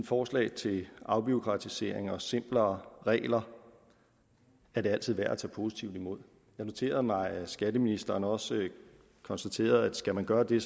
forslag til afbureaukratisering og simplere regler er det altid værd at tage positivt imod jeg noterede mig at skatteministeren også konstaterede at skal man gøre det